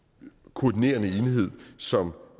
koordinerende enhed som